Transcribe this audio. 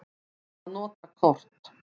Að nota kort.